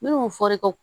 Minnu fɔra i ka